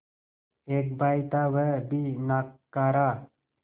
एक भाई था वह भी नाकारा